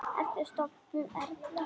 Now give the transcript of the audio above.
Ertu sofnuð, Erla?